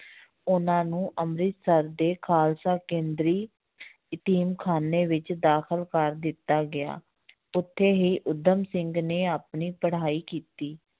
ਉਹਨਾਂ ਨੂੰ ਅੰਮ੍ਰਿਤਸਰ ਦੇ ਖ਼ਾਲਸਾ ਕੇਂਦਰੀ ਯਤੀਮ ਖ਼ਾਨੇ ਵਿੱਚ ਦਾਖਲ ਕਰ ਦਿੱਤਾ ਗਿਆ ਉੱਥੇ ਹੀ ਊਧਮ ਸਿੰਘ ਨੇ ਆਪਣੀ ਪੜ੍ਹਾਈ ਕੀਤੀ